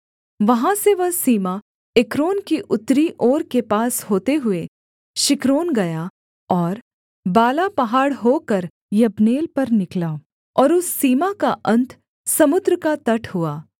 वहाँ से वह सीमा एक्रोन की उत्तरी ओर के पास होते हुए शिक्करोन गया और बाला पहाड़ होकर यब्नेल पर निकला और उस सीमा का अन्त समुद्र का तट हुआ